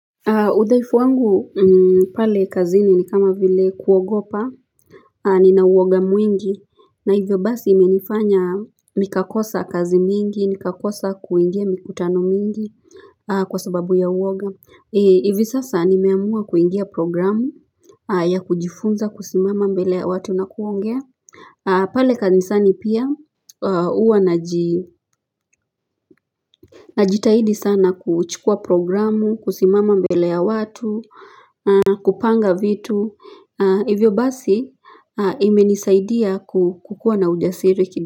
Udhaifu wangu pale kazi ni ni kama vile kuogopa Nina uoga mwingi na hivyo basi imenifanya Nikakosa kazi mingi nikakosa kuingia mikutano mingi kwa sababu ya uoga hivi sasa nimeamua kuingia programu ya kujifunza kusimama mbele ya watu na kuongea pale kanisani pia huwa najitahidi sana kuchukua programu kusimama mbele ya watu kupanga vitu Hivyo basi imenisaidia kukuwa na ujasiri.